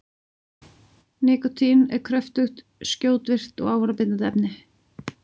Nikótín er kröftugt, skjótvirkt og ávanabindandi efni.